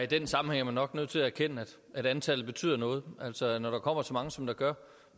den sammenhæng er man nok nødt til at erkende at antallet betyder noget altså når der kommer så mange som der gør